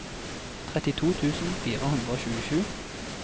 trettito tusen fire hundre og tjuesju